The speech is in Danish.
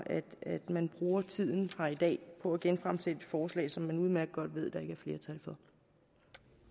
at man bruger tiden på at genfremsætte et forslag som man udmærket godt ved der ikke er flertal for